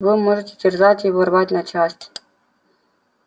вы можете терзать его рвать на части